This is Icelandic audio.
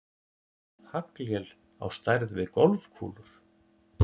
Haglél á stærð við golfkúlur